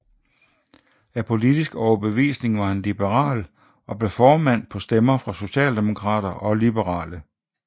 Af politisk overbevisning var han liberal og blev formand på stemmer fra socialdemokrater og liberale